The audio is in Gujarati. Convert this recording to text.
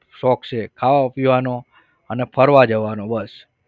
શોખ છે ખાવા, પીવાનો અને ફરવા જવાનો બસ.